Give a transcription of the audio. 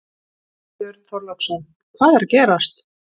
Björn Þorláksson: Hvað er að gerast?